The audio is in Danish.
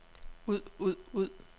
ud ud ud